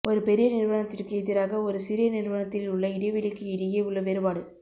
ஒரு பெரிய நிறுவனத்திற்கு எதிராக ஒரு சிறிய நிறுவனத்தில் உள்ள இடைவெளிக்கு இடையே உள்ள வேறுபாடு